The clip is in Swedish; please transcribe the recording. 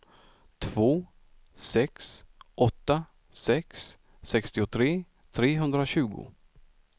två sex åtta sex sextiotre trehundratjugo